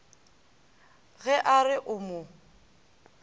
ge a re o mo